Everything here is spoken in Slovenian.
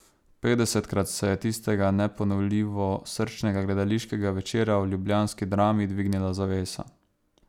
Petdesetkrat se je tistega neponovljivo srčnega gledališkega večera v ljubljanski Drami dvignila zavesa.